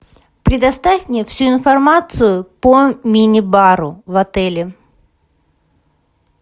предоставь мне всю информацию по мини бару в отеле